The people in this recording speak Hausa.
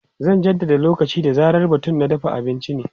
Zan jaddada lokaci da zarar batun na dafa abinci ne.